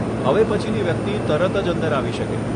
હવે પછીની વ્યક્તિ તરત જ અંદર આવી શકે.